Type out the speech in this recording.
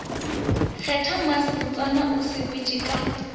kgetha mmasebotsana o sepetšego ka